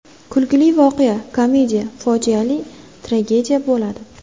Kulgili voqea komediya, fojialisi tragediya bo‘ladi.